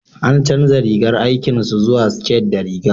an canja rigar aikin su zuwa siket da riga